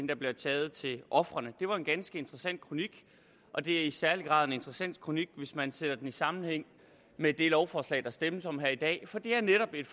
der bliver taget til ofrene det var en ganske interessant kronik og det er i særlig grad en interessant kronik hvis man ser den i sammenhæng med det lovforslag der stemmes om her i dag for det er netop et